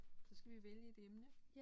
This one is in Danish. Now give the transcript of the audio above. Så skal vi vælge et emne